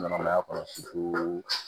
Ɲɛnɛmaya kɔnɔ